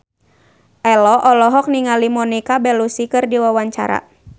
Ello olohok ningali Monica Belluci keur diwawancara